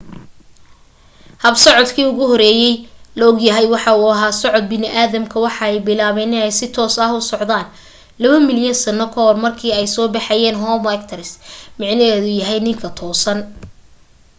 hab socdaalkii ugu horeyey la ogyahay waxa uu ahaa socod bini'aadamka waxa ay bilaaben in ay si toos ah u socdaan labo milyan sano kahor markii ay soo baxeyn homo erectus micnaheedu yahay ninka toosan